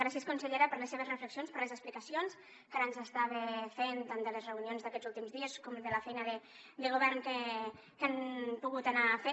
gràcies consellera per les seves reflexions per les explicacions que ara ens estava fent tant de les reunions d’aquests últims dies com de la feina de govern que han pogut anar fent